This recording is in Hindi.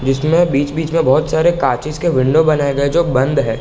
जिसमे बीच-बीच मे बहुत सारे काच्चेश के विंडो बनाए गए जो बंद है।